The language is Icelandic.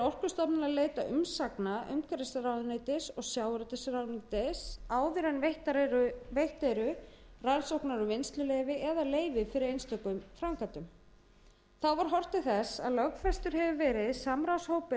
að leita umsagna umhverfisráðuneytis og sjávarútvegsráðuneytis áður en veitt eru rannsóknar og vinnsluleyfi eða leyfi fyrir einstökum framkvæmdum þá var horft til þess að lögfestur hefur verið samráðshópur